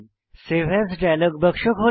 save as dialog বাক্স খোলে